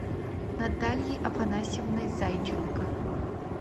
наталией афанасьевной зайченко